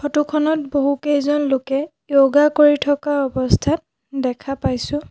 Photo খনত বহুকেইজন লোকে যৌগা কৰি থকা অৱস্থাত দেখা পাইছোঁ।